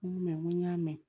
N ko n ko n y'a mɛn